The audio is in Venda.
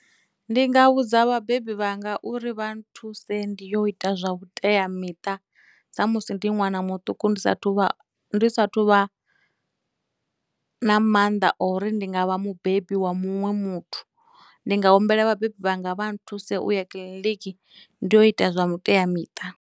Ndi nga vhudza vhabebi vhanga uri vha nthuse ndi yo ita zwa vhuteamiṱa sa musi ndi ṅwana muṱuku ndi sathu vha, ndi sathu vha na mannḓa o uri ndi nga vha mubebi wa muṅwe muthu, ndi nga humbela vhabebi vhanga vha nthuse u ya kiḽiniki ndi yo ita zwa vhuteamiṱa.